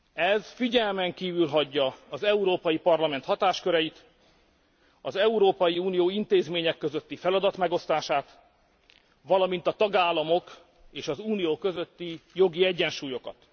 Ez figyelmen kívül hagyja az Európai Parlament hatásköreit, az Európai Unió intézményei közötti feladatmegosztást, valamint a tagállamok és az Unió közötti jogi egyensúlyokat.